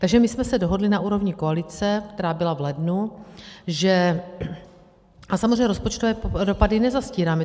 Takže my jsme se dohodli na úrovni koalice, která byla v lednu, že - a samozřejmě rozpočtové dopady nezastírám.